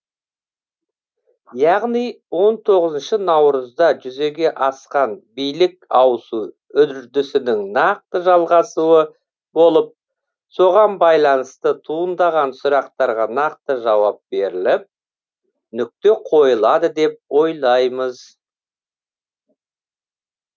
яғни он тоғызыншы наурызда жүзеге асқан билік ауысу үрдісінің нақты жалғасуы болып соған байланысты туындаған сұрақтарға нақты жауап беріліп нүкте қойылады деп ойлаймыз